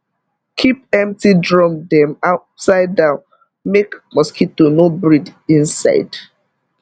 keep empty drum dem upside down make mosquito no breed inside